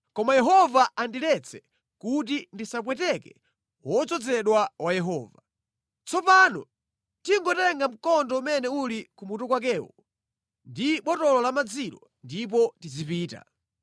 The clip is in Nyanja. Koma Yehova andiletse kuti ndisapweteke wodzozedwa wa Yehova. Tsopano tingotenga mkondo umene uli ku mutu kwakewo ndi botolo la madzilo ndipo tizipita.”